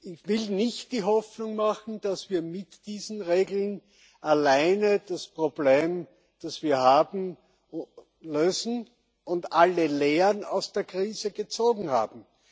Ich will nicht die Hoffnung machen, dass wir mit diesen Regeln alleine das Problem, das wir haben, lösen und alle Lehren aus der Krise gezogen haben.